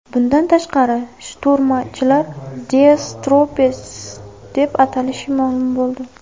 Bundan tashqari, shturmchilarni Death Troopers deb atalishi ma’lum bo‘ldi.